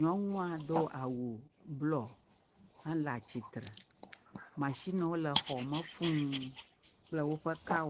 nyɔnua do awu blɔ hele atsitre, matsinewo le xɔ me fuu kple woƒe kawo…